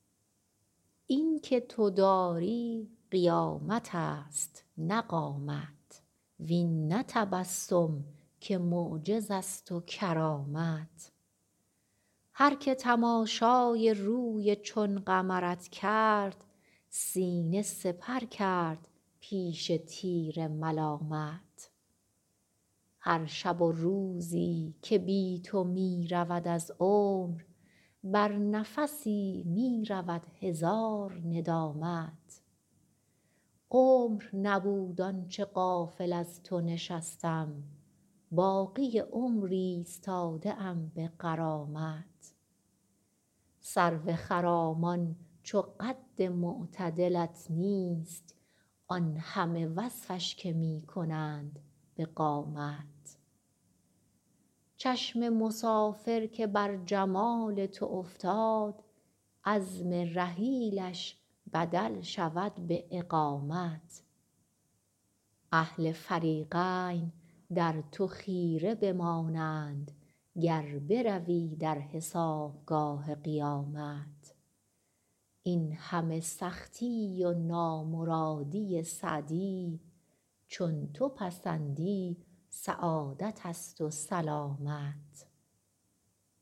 این که تو داری قیامت است نه قامت وین نه تبسم که معجز است و کرامت هر که تماشای روی چون قمرت کرد سینه سپر کرد پیش تیر ملامت هر شب و روزی که بی تو می رود از عمر بر نفسی می رود هزار ندامت عمر نبود آن چه غافل از تو نشستم باقی عمر ایستاده ام به غرامت سرو خرامان چو قد معتدلت نیست آن همه وصفش که می کنند به قامت چشم مسافر که بر جمال تو افتاد عزم رحیلش بدل شود به اقامت اهل فریقین در تو خیره بمانند گر بروی در حسابگاه قیامت این همه سختی و نامرادی سعدی چون تو پسندی سعادت است و سلامت